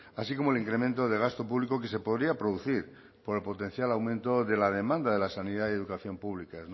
así como el incremento de gasto público que se podría producir por el potencial aumento de la demanda de la sanidad y educación pública